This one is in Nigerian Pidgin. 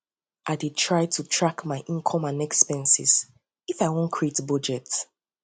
i dey try dey try to track my income and expenses if i won create budget